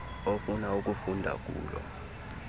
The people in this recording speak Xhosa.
ofuna ukufunda kulo